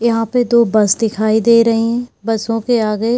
यहाँ पे दो बस दिखाई दे रही है बसों के आगे --